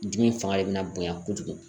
Dimi fanga de bɛna bonya kojugu